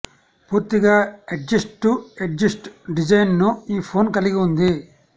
పూర్తిగా edge to edge డిజైన్ను ఈ ఫోన్ కలిగి ఉంది